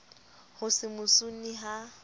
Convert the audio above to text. ho se mo sune ha